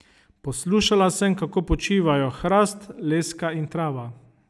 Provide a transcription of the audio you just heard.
Poslušala sem, kako počivajo hrast, leska in trava.